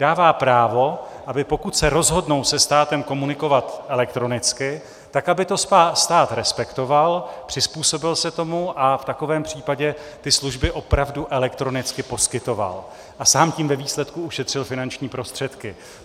Dává právo, aby pokud se rozhodnou se státem komunikovat elektronicky, tak aby to stát respektoval, přizpůsobil se tomu a v takovém případě ty služby opravdu elektronicky poskytoval, a sám tím ve výsledku ušetřil finanční prostředky.